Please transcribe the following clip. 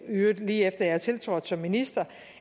øvrigt lige efter jeg tiltrådte som minister